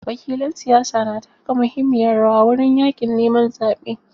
Wakilan siyasa na taka muhimmiyar rawa wurin yaƙin neman zaɓe.